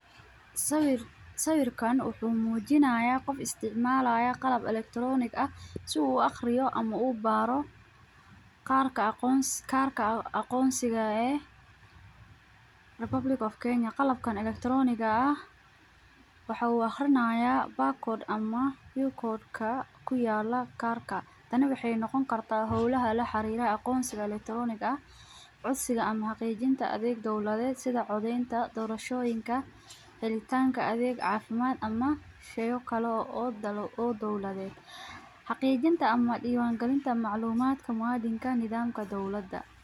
Sawir sawirka wuxumujinaya, gof isticmalo qalab electronic si u uagriyo ama uu baaro qaarka aqonsika eh, republic of kenya , qalabkan electronic wuxu aqrinayaa back code ama u code [cd] aya kuyala karka, taani waxan nogonkarta xowlaha laxarira aqonsiga electronic , sidha ama xaqijinta adeg dowladed sidha codenta dorashoyinka, xilitanka adega cafimad ama sheyoo kale oo dowladed, xaqijinta ama diwan galinta ama maclumadka muwadinka nadaamka dowlada.